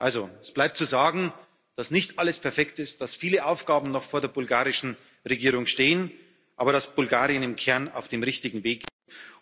Also, es bleibt zu sagen, dass nicht alles perfekt ist, dass viele Aufgaben noch vor der bulgarischen Regierung stehen, aber dass Bulgarien im Kern auf dem richtigen Weg ist.